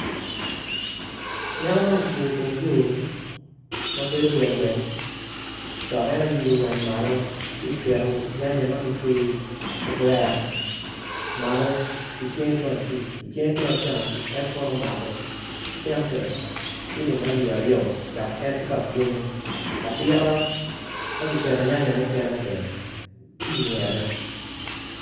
Anyaka man ocung iteng yo mabedo gweng gweng dok en oilo wange malo ci oketo nyanya ma kitweyo i kavere malo ki cinge tung acuc icinge tung acam en kono omako cente ciling alip aryo dok en tye ka bwonyo adita ma giketo nya nya mukene bene tye ingete.